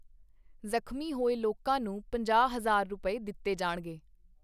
ਜਖ਼ਮੀ ਹੋਏ ਲੋਕਾਂ ਨੂੰ ਪੰਜਾਹ ਹਜ਼ਾਰ ਰੁਪਏ ਦਿੱਤੇ ਜਾਣਗੇ।